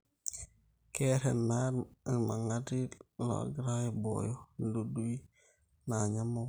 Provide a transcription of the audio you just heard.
keer ena ilmangati loongira aibooyo idudui naanya emukunta